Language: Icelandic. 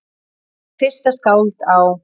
Ég er fyrsta skáld á